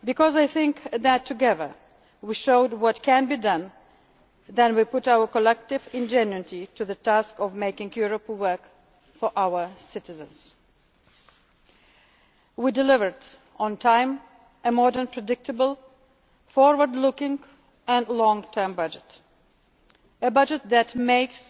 Jensen. I think that together, we showed what can be done when we apply our collective ingenuity to the task of making Europe work for our citizens. We delivered on time a modern, predictable, forward looking and long term budget, a budget that